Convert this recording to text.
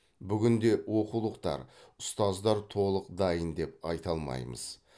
бүгінде оқулықтар ұстаздар толық дайын деп айта алмаймыз